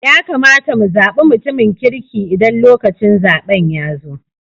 Ya kamata mu zabi mutumin kirki Idan lokacin zaben ya zo.